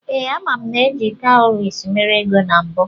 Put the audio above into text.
Ee, ama m na eji kawuries mere ego na mbụ.